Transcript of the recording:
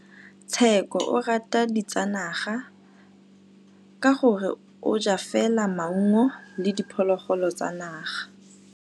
Tshekô o rata ditsanaga ka gore o ja fela maungo le diphologolo tsa naga.